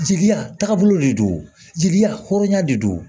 Jeliya taagabolo de don jeli hɔrɔnya de don